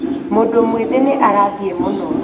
mũndũ mwĩthĩ nĩ arathiĩ mũno